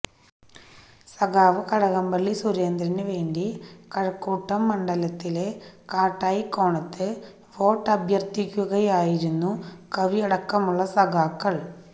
സഖാവ് കടകംപള്ളി സുരേന്ദ്രന് വേണ്ടി കഴക്കൂട്ടം മണ്ഡലത്തിലെ കാട്ടായിക്കോണത്ത് വോട്ടഭ്യർത്ഥിക്കുകയായിരുന്നു കവിയടക്കമുള്ള സഖാക്കൾ